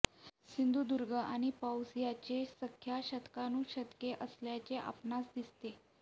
सिंधुदुर्ग आणि पाऊस याचे सख्य शतकानुशतके असल्याचे आपणास दिसते